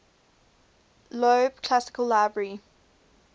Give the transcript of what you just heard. loeb classical library